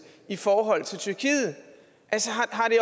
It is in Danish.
i forhold til tyrkiet altså